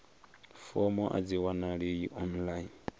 fomo a dzi wanalei online